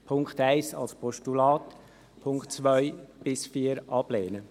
Punkt 1 als Postulat, die Punkte 2 bis 4 ablehnen.